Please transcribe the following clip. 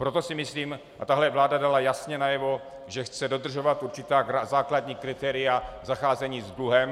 Proto si myslím, a tahle vláda dala jasně najevo, že chce dodržovat určitá základní kritéria zacházení s dluhem.